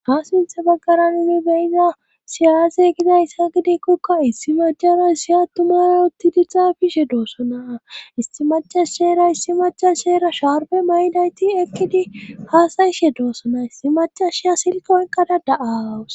ha sintha baggaranimi beyiza siyaase gidayss ha gidikkokka issi majara siya tumara utti dixa bishe doosso naa isti macas sheera issi machas sheera shaarbe maydayti ekkidi haasayishe doossonaa issi macashia silkoynkadada7awus